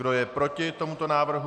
Kdo je proti tomuto návrhu?